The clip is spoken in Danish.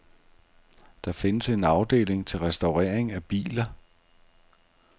Der findes en afdeling til restaurering af biler.